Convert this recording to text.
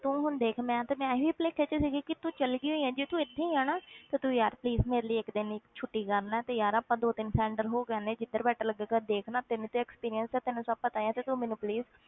ਤੂੰ ਹੁਣ ਦੇਖ ਮੈਂ ਤੇ ਮੈਂ ਇਹੀ ਭੁਲੇਖੇ ਵਿੱਚ ਸੀਗੀ ਕਿ ਤੂੰ ਚਲੇ ਗਈ ਹੋਈ ਹੈ, ਜੇ ਤੂੰ ਇੱਥੇ ਹੀ ਹੈ ਨਾ ਤਾਂ ਤੂੰ ਯਾਰ please ਮੇਰੇ ਲਈ ਇੱਕ ਦਿਨ ਲਈ ਛੁੱਟੀ ਕਰ ਲੈ ਤੇ ਯਾਰ ਆਪਾਂ ਦੋ ਤਿੰਨ center ਹੋ ਕੇ ਆਉਂਦੇ ਹਾਂ, ਜਿੱਧਰ better ਲੱਗੇਗਾ, ਦੇਖ ਨਾ ਤੈਨੂੰ ਤੇ experience ਹੈ, ਤੈਨੂੰ ਸਭ ਪਤਾ ਹੈ ਤੇ ਤੂੰ ਮੈਨੂੰ please